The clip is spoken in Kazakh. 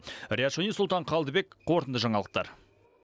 риат шони сұлтан қалдыбек қорытынды жаңалықтар